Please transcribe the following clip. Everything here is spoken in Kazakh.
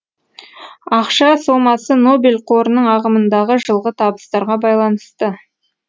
ақша сомасы нобель қорының ағымындағы жылғы табыстарға байланысты